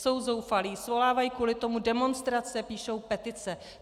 Jsou zoufalí, svolávají kvůli tomu demonstrace, píšou petice.